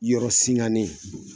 Yɔrɔ singanen.